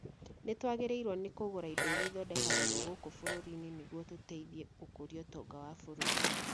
Nĩtwagĩrĩirwo nĩ kũgũra indo irĩa ithondekagĩrwo gũkũ bũrũri-inĩ nĩguo tũteithie gũkũria ũtonga wa bũrũri